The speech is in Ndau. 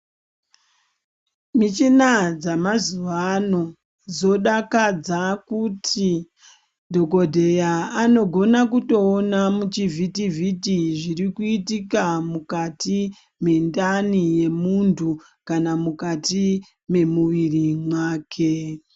Michina dzamazuva ano dzodakadza kuti Dhokodheya anogona kutoona muchivhiti vhiti zviri kuitika mukati mendani yemuntu kana mukati wemuviri make.